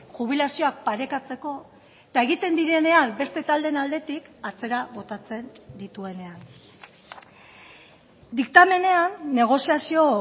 jubilazioak parekatzeko eta egiten direnean beste taldeen aldetik atzera botatzen dituenean diktamenean negoziazio